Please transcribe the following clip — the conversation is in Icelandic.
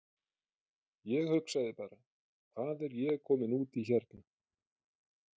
Ég hugsaði bara: Hvað er ég kominn út í hérna?